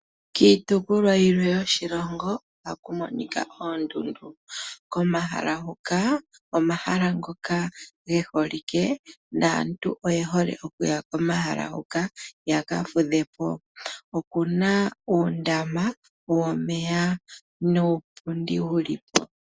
Kiitopolwa yilwe yoshilongo ohaku monika oondundu komahala huka omahala ngoka geholike naantu oye hole okuya komahala huka yaka fudhepo. Okuna uundama womeya nuupundi wulipo.